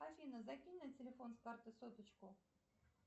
афина закинь на телефон с карты соточку